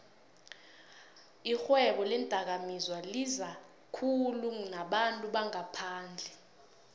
ixhwebo leendakamizwalizakhulu nabantu bangaphandle